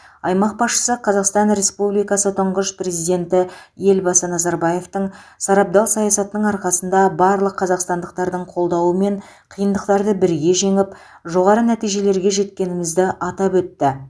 аймақ басшысы қазақстан республикасы тұңғыш президенті елбасы назарбаевтың сарабдал саясатының арқасында барлық қазақстандықтардың қолдауымен қиындықтарды бірге жеңіп жоғары нәтижелерге жеткенімізді атап өтті